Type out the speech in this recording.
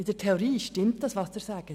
In der Theorie stimmt, was Sie sagen.